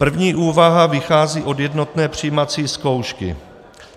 První úvaha vychází od jednotné přijímací zkoušky.